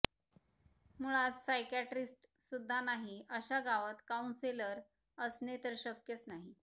मूळात सायकॅट्रिस्टसुद्धा नाही अश्या गावात काउंसेलर असणे तर शक्यच नाही